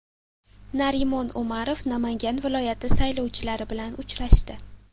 Narimon Umarov Namangan viloyati saylovchilari bilan uchrashdi.